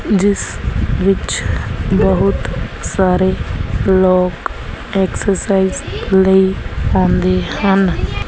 ਜਿਸ ਵਿੱਚ ਬਹੁਤ ਸਾਰੇ ਲੋਕ ਐਕਸਰਸਾਈਜ ਲਈ ਆਉਂਦੇ ਹਨ।